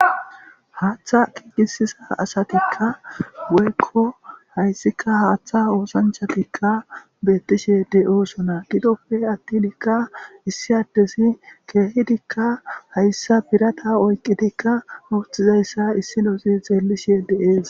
Haaththa kiigisisa asatikka woykko hayssika haaththa oosanchatikka beettishe de7osona gidoppfe attinikka issi addesi keehidikka hayssa birata oyqqitikka uuthizayssa issi losi xeellishe deees